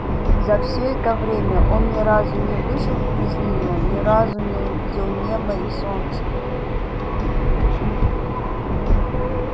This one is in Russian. за всё это время он ни разу не вышел из неё ни разу не увидел неба и солнца